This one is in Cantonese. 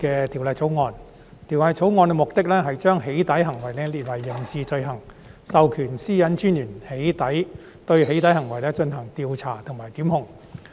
《條例草案》的目的是將"起底"行為訂為刑事罪行，並授權個人資料私隱專員對"起底"行為進行調查和檢控。